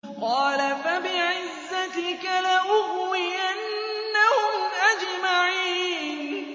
قَالَ فَبِعِزَّتِكَ لَأُغْوِيَنَّهُمْ أَجْمَعِينَ